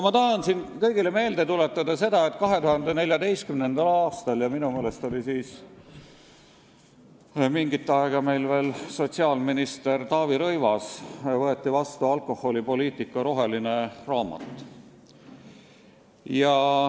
Ma tahan kõigile meelde tuletada seda, et 2014. aastal – minu meelest oli siis mingit aega sotsiaalminister veel Taavi Rõivas – võeti vastu alkoholipoliitika roheline raamat.